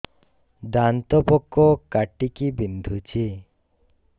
ଦାନ୍ତ ପୋକ କାଟିକି ବିନ୍ଧୁଛି